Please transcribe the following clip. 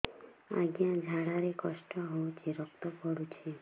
ଅଜ୍ଞା ଝାଡା ରେ କଷ୍ଟ ହଉଚି ରକ୍ତ ପଡୁଛି